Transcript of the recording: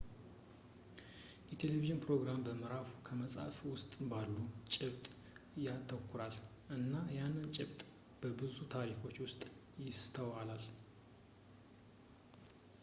የቴለቪዥን ፕሮግራም ምዕራፉ በመጽሀፍ ውስጥ ባለ ጭብጥ ያተኩራል እና ያንን ጭብጥ በብዙ ታሪኮች ውስጥ ይስተዋላል